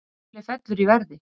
Apple fellur í verði